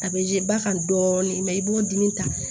A bɛ ba kan dɔɔni i b'o dimi ta